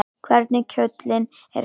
Hvernig kjóllinn er farinn!